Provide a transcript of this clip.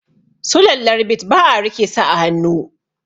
Sulallar bit ba a rike su a hannu